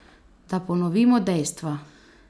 Da ponovimo dejstva.